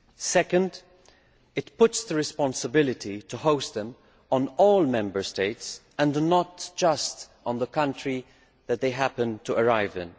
Secondly, it puts the responsibility to host them on all Member States and not just on the country that they happen to arrive in.